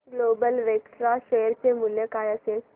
global Vectra share चे मूल्य काय असेल